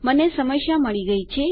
મને સમસ્યા મળી ગયી છે